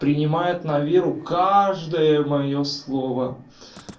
принимает на веру каждое моё слово